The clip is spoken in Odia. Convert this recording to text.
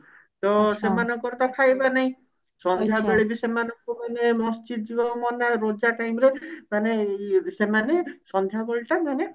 ତ ସେମାନଙ୍କର ତ ଖାଇବା ନାଇଁ ସନ୍ଧ୍ଯା ବେଳେ ବି ସେମାନେଙ୍କୁ ମାନେ ମସଜିତ ଯିବାକୁ ମନା ରୋଜା time ରେ ମାନେ ଇଏ ସେମାନେ ସନ୍ଧ୍ଯା ବେଳଟା ମାନେ